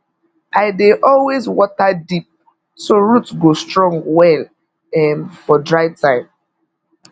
i dey always water deep so root go strong well um for dry time